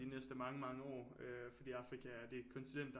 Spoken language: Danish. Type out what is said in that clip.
De næste mange mange år øh fordi er Afrika det kontinent der